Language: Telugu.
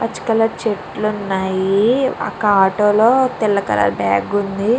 పచ్చ కలర్ చెట్లు ఉన్నాయి ఒక ఆటో లో తెల్ల కలర్ బ్యాగ్ ఉంది.